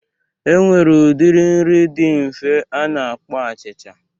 E nwere udiri nri di nfe a na-akpọ achịcha.